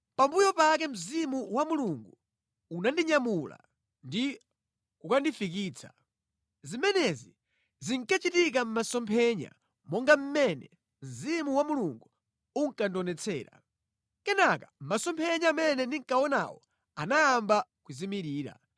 Pambuyo pake Mzimu wa Mulungu unandinyamula ndi kukandifikitsa. Zimenezi zinkachitika mʼmasomphenya monga mmene Mzimu wa Mulungu unkandionetsera. Kenaka masomphenya amene ndinkawaonawo anayamba kuzimirira.